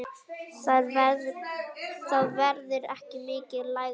Það verður ekki mikið lægra.